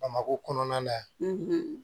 Bamakɔ kɔnɔna na